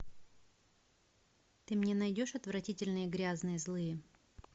ты мне найдешь отвратительные грязные злые